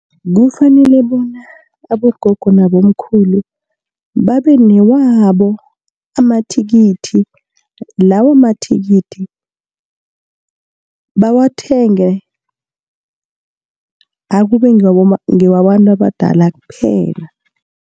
Kufanele bona abogogo nabomkhulu babe newabo amathikithi, lawo mathikithi bawathenge akube ngewabantu abadala kphela.